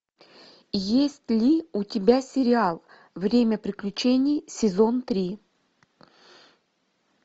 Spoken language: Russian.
есть ли у тебя сериал время приключений сезон три